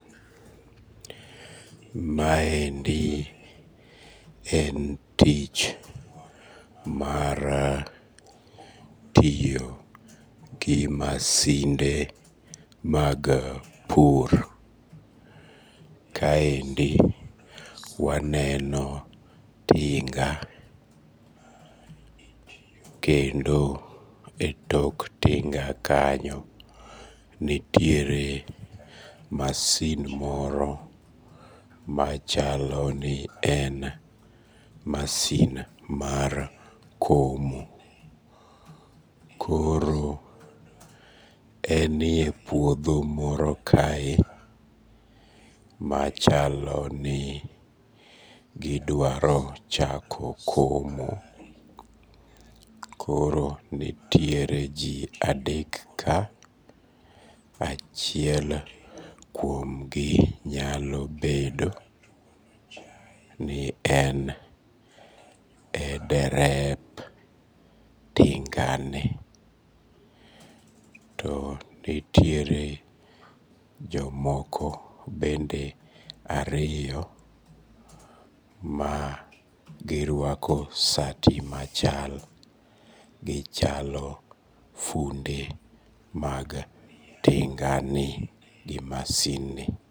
Maendi en tich mar tiyo gimasinde mag pur, kaendi waneno tinga kendo e tok tinga kanyo nitiere masin moro machalo ni en masin mar komo, koro enie puodho moro kae machalo ni gidwaro chako komo, koro nitire ji adek ka achiel kuomgi anyalo bedo ni en e derep tinga, to nitiere jomoko bende ariyo magirwako sati machal gichalo funde mag tinganie gi masindni